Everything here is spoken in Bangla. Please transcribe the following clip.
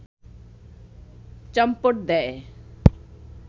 চম্পট দেয়